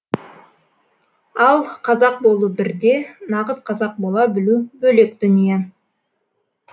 ал қазақ болу бір де нағыз қазақ бола білу бөлек дүние